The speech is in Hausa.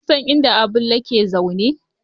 Kun san inda Abulle yake zaune?